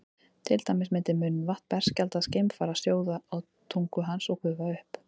til dæmis myndi munnvatn berskjaldaðs geimfara sjóða á tungu hans og gufa upp